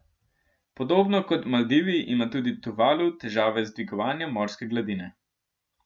Podobno kot Maldivi ima tudi Tuvalu težave s dvigovanjem morske gladine.